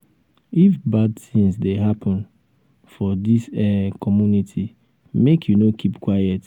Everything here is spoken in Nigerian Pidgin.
if bad tins dey happen um for dis um community make you no keep quiet.